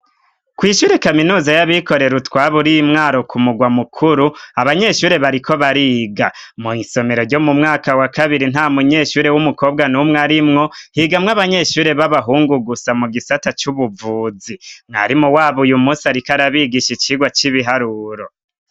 Kw' ishure kaminuza y'abikorera utwaba ur'iMwaro ku mugwa mukuru ,abanyeshure bariko bariga , mw' isomero ryo mu mwaka wa kabiri nta munyeshure w'umukobwa numw' arimwo, higamw' abanyeshure b'abahungu gusa mu gisata c'ubuvuzi ,mwarimu wabo uyu musi arikw'arabigisha icigwa c'ibiharuro.